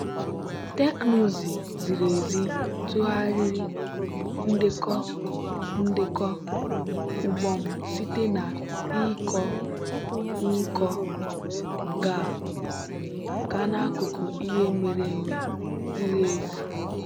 teknụzụ ziri ezi tụgharịrị ndekọ ndekọ ugbo m site na ịkọ nkọ gaa n'akụkọ ihe mere eme ziri ezi.